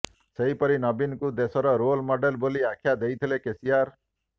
ସେହିପରି ନବୀନଙ୍କୁ ଦେଶର ରୋଲ ମଡେଲ ବୋଲି ଆଖ୍ୟା ଦେଇଥିଲେ କେସିଆର